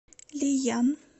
лиян